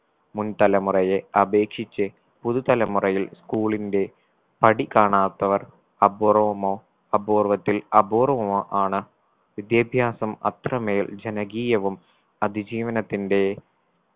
മുൻ തലമുറയെ അപേക്ഷിച്ച് പുതു തലമുറയിൽ school ന്റെ പടി കാണാത്തവർ അപൂർവ്വമോ അപൂർവ്വത്തിൽ അപൂർവ്വമോ ആണ് വിദ്യാഭ്യാസം അത്രമേൽ ജനകീയവും അതിജീവനത്തിന്റെ